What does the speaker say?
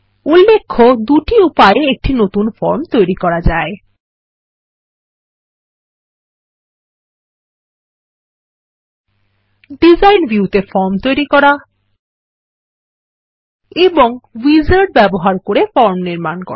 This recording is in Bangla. উল্লেখ্য দুটি উপায়ে একটি নতুন ফর্ম তৈরি করা যায়160 ডিজাইন ভিউতে ফরম তৈরি করা এবং উইজার্ড ব্যবহার করে ফর্ম নির্মাণ করা